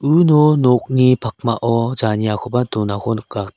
uno nokni pakmao janiakoba donako nika.